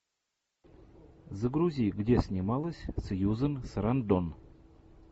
загрузи где снималась сьюзан сарандон